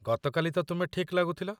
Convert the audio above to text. ଗତକାଲି ତ ତୁମେ ଠିକ୍ ଲାଗୁଥିଲ।